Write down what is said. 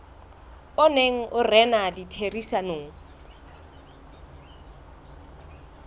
o neng o rena ditherisanong